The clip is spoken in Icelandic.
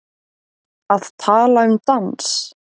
Að tala um dans